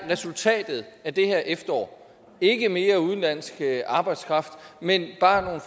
resultatet af det her efterår ikke mere udenlandsk arbejdskraft men bare at